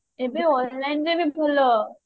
ଏବେ online ରେ ବି ଭଲ